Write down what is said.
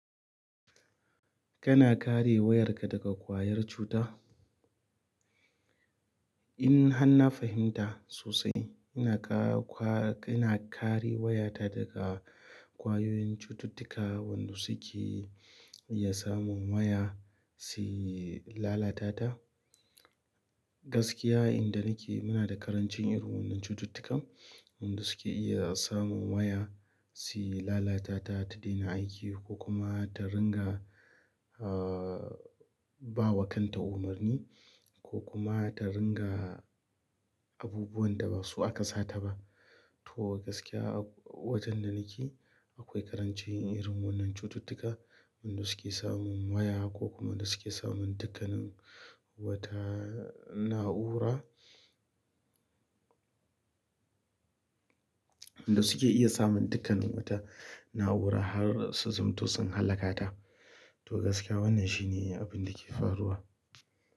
Kana kare wayar ka daga ƙwayar cuta? In har na fahimta sosai, ina ka, kwa, ina kare wayata daga ƙwayoyin cututtuka wanda suke iya samun waya, su lalata ta. Gaskiya inda nake muna da ƙarancin irin wannan cututtukan wanda suke iya samun waya, su lalata ta ta daina aiki ko kuma ta ringa, ah, ba wa kanta umarni, ko kuma ta ringa abubuwan da ba su aka sa ta ba. To gaskiya wajen da nake, akwai ƙarancin irin wannan cututtuka, wanda suke samun waya, ko kuma da suke samun dukkanin wata na'ura, wanda suke iya samun dukkanin wata na'ura har su zamto sun hallaka ta. To gaskiya wannan shine abin da ke faruwa.